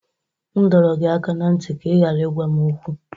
M dọrọ gị aka ná ntị ka ị ghara ịgwa m okwu!